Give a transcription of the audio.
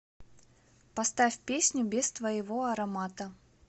поставь песню без твоего аромата